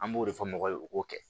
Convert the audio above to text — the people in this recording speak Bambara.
An b'o de fɔ mɔgɔ ye u k'o kɛ